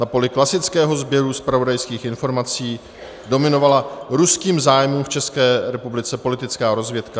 Na poli klasického sběru zpravodajských informací dominovala ruským zájmům v České republice politická rozvědka.